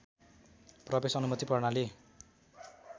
प्रवेश अनुमति प्रणाली